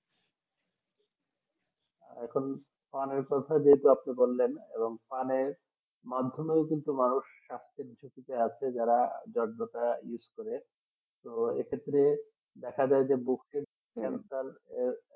এখন পানের কথা আপনি যেটা বললেন পানে মাধ্যমে কিন্তু মানুষ স্বাস্থ্য বিষয় যারাবিশেষ করে আছে তো এক্ষেত্রে দেখা যায় যে